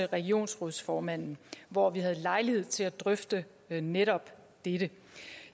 regionsrådsformanden hvor vi havde lejlighed til at drøfte netop dette